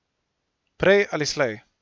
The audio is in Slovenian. Prej ali slej.